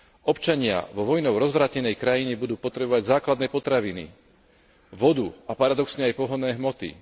Občania vo vojnou rozvrátenej krajine budú potrebovať základné potraviny, vodu a paradoxne aj pohonné hmoty.